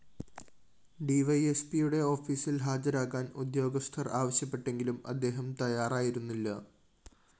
ഡിവൈഎസ്പിയുടെ ഓഫീസില്‍ ഹാജരാകാന്‍ ഉദ്യോഗസ്ഥര്‍ ആവശ്യപ്പെട്ടെങ്കിലും അദ്ദേഹം തയ്യാറായിരുന്നില്ല